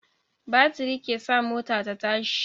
Batiri ke sa mota ta tashi